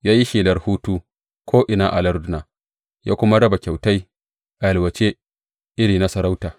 Ya yi shelar hutu ko’ina a larduna, ya kuma raba kyautai a yalwace irin na sarauta.